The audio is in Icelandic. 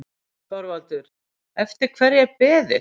ÞORVALDUR: Eftir hverju er beðið?